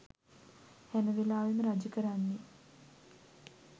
හැමවෙලාවෙම රජ කරන්නේ